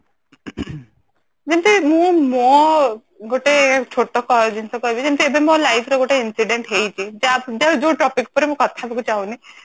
ଯେମିତି ମୁଁ ମୋ ଗୋଟେ ଛୋଟ ଜିନିଷ କହିବି ଯେମିତି କି ମୋ life ରେ ଗୋଟେ incident ହେଇଛି ଯୋଉ topic ଉପରେ ମୁଁ କଥା ହବାକୁ ଚାହୁଁନି